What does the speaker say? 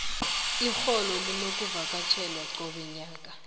irholo linokuvakatjhelwa cobe mnyaka